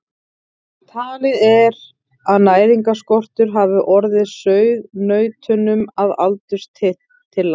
Talið er að næringarskortur hafi orðið sauðnautunum að aldurtila.